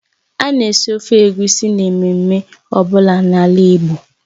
A na-esi ofe Egusi n'ememme ọ bụla n'ala Igbo